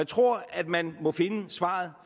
tror at man må finde svaret